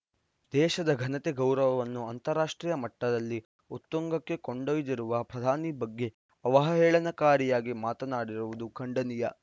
ದೇಶದ ಘನತೆ ಗೌರವವನ್ನು ಅಂತಾರಾಷ್ಟ್ರೀಯ ಮಟ್ಟದಲ್ಲಿ ಉತ್ತುಂಗಕ್ಕೆ ಕೊಂಡೊಯ್ದಿರುವ ಪ್ರಧಾನಿ ಬಗ್ಗೆ ಅವಹೇಳನಕಾರಿಯಾಗಿ ಮಾತನಾಡಿರುವುದು ಖಂಡನೀಯ